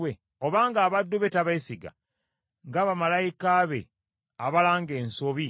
Obanga abaddu be tabeesiga, nga bamalayika be abalanga ensobi